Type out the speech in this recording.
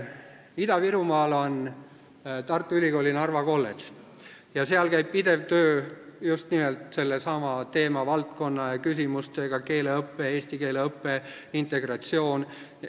Ida-Virumaal on Tartu Ülikooli Narva kolledž ja seal käib pidev töö just nimelt sellesama teemavaldkonna ja küsimustega – keeleõpe, eesti keele õpe, integratsioon.